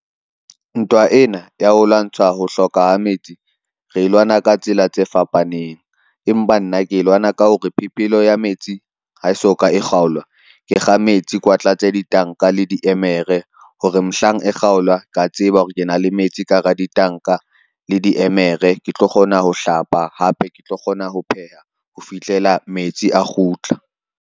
Ntwa ena ya ho lwantsha ho hloka ha metsi, re e lwana ka tsela tse fapaneng. Empa nna ke lwana ka hore phepelo ya metsi ha e soka e kgaolwa ke kga metsi, kwa tlatse ditanka le diemere hore mohlang e kgaolwa, ka tseba hore ke na le metsi ka hara ditanka le diemere, ke tlo kgona ho hlapa hape ke tlo kgona ho pheha ho fihlela metsi a kgutla.